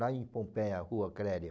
Lá em Pompeia, Rua Clélia.